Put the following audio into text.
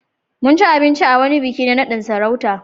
Mun ci abinci a wurin wani biki na naɗin sarauta.